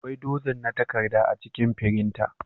Akwai dozin na takarda a cikin firinta.